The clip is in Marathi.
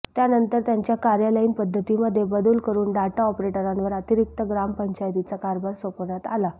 त्यानंतर त्यांच्या कार्यालयीन पद्धतीमध्ये बदल करून डाटा ऑपरेटरांवर अतिरिक्त ग्रामपंचायतींचा कार्यभार सोपवण्यात आला